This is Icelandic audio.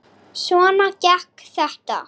Svona gekk þetta.